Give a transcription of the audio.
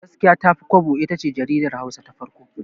Gaskiya Tafi Kwabo itace jaridar Hausa ta farko.